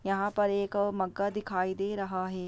यहाँ पर एक मग्गा दिखाई दे रहा है।